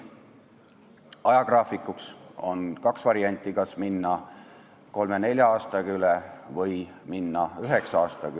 Ajagraafikus on ette nähtud kaks varianti: kas minna üle kolme-nelja aastaga või üheksa aastaga.